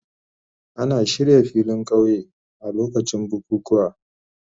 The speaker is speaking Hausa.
Ana shirya filin kauye a lokacin bukukuwa.